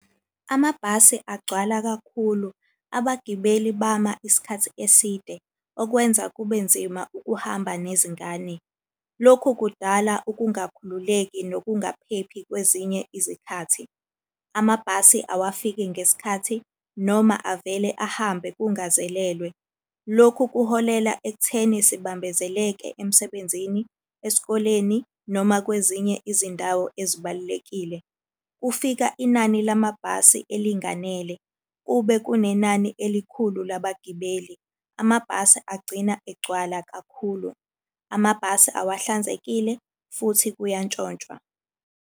Amabhasi agcwala kakhulu, abagibeli bama isikhathi eside okwenza kube nzima ukuhamba nezingane. Lokhu kudala ukungakhululeki nokungaphephi kwezinye izikhathi. Amabhasi awafiki ngesikhathi noma avele ahambe kungazelelwe. Lokhu kuholela ekutheni sibambezeleke emsebenzini, esikoleni, noma kwezinye izindawo ezibalulekile. Kufika inani lamabhasi elinganele kube kunenani elikhulu labagibeli, amabhasi agcina egcwala kakhulu. Amabhasi awahlanzekile, futhi kuyantshontshwa.